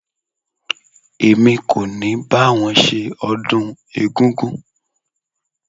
Èmi kò ní bá wọn ṣe ọdún egúngún.